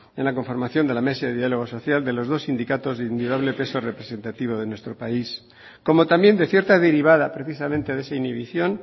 en la conformación de la mesa de diálogo social de los dos sindicatos de indudable peso representativo de nuestro país como también de cierta derivada precisamente de esa inhibición